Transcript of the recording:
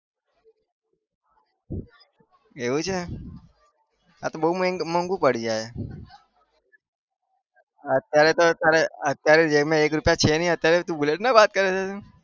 એવું છે? આતો બહુ મોગું પડી જાય અત્યારે તો અત્યારે जेबमे એક રૂપિયા છે નહિ અત્યારે તું bullet ના વાત કરે